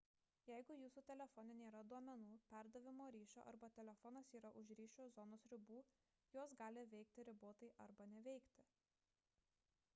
jeigu jūsų telefone nėra duomenų perdavimo ryšio arba telefonas yra už ryšio zonos ribų jos gali veikti ribotai arba neveikti